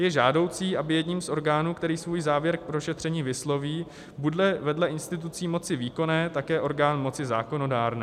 Je žádoucí, aby jedním z orgánů, který svůj závěr k prošetření vysloví, bude vedle institucí moci výkonné také orgán moci zákonodárné.